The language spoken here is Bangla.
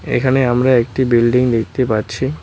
এখানে আমরা একটি বিল্ডিং দেখতে পাচ্ছি।